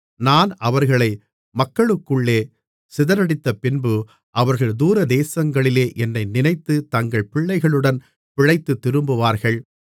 நான் அவர்களை மக்களுக்குள்ளே சிதறடித்தபின்பு அவர்கள் தூரதேசங்களிலே என்னை நினைத்து தங்கள் பிள்ளைகளுடன் பிழைத்துத் திரும்புவார்கள்